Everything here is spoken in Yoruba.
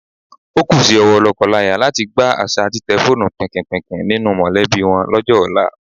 O kú sí owó lọ́kọláya láti gbá àṣà títẹ fóònù pìnkìnpìnkìn nínú mọ̀lẹ́bí wọn lọ́jọ́ ọ̀la.